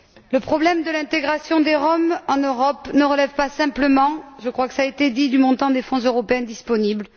Le problème de l'intégration des Roms en Europe ne relève pas simplement je crois que cela a été dit du montant des fonds européens disponibles.